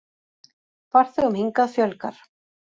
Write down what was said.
Farþegum hingað fjölgar